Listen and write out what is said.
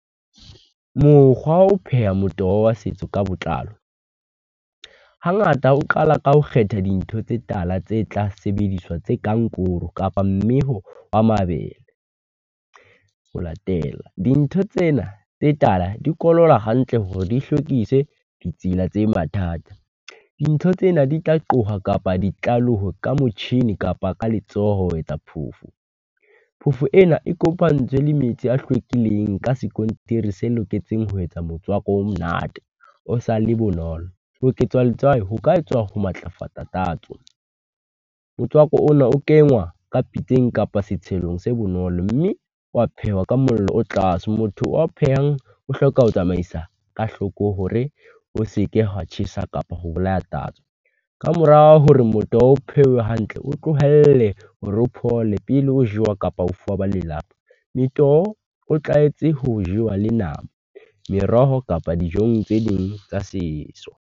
Mokgwa wa ho pheha motoho wa setso ka botlalo, hangata o qala ka ho kgetha dintho tse tala tse tla sebediswa, tse kang koro kapa mme ho a mabele. Ho latela dintho tsena tse tala, di koloba hantle hore di hlwekise ditsela tse mathata. Dintho tsena di tla qoha kapa ditlaleho ka motjhini kapa ka letsoho ho etsa phofu. Phofo ena e kopantswe le metsi a hlwekileng ka skontiri se loketseng ho etsa motswako o monate. O sa le bonolo oketswa letswai, ho ka etswa ho matlafatsa tatso. Motswako ona o kengwa ka pitseng kapa setshelong se bonolo, mme wa phehwa ka mollo o tlase. Motho wa phehang o hloka ho tsamaisa ka hloko hore o seke hwa tjhesa kapa ho bolaya tatso. Kamorao hore motoho o phewe hantle, o tlohelle hore o phole pele o jewa kapa o fuwa ba lelapa. Metoho o tlwaetse ho jewa le nama, meroho kapa dijong tse ding tsa setso.